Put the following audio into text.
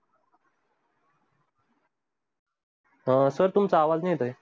हो तर तुमचा आवाज नाही येत आहे.